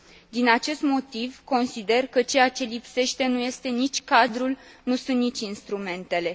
Din acest motiv consider că ceea ce lipsește nu este nici cadrul, nu sunt nici instrumentele.